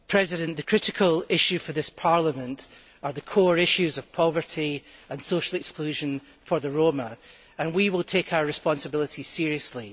Mr President, the critical issues for this Parliament are the core issues of poverty and social exclusion of the Roma, and we will take our responsibilities seriously.